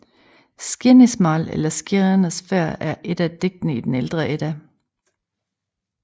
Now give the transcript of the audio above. Skirnismál eller Skirners færd er et af digtene i den ældre Edda